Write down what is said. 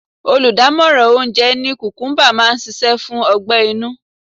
Oludamoran oúnjẹ ní kukumuba máa ń ṣíṣe fún ọgbẹ-inú.